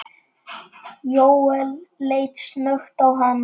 Jóel leit snöggt á hana.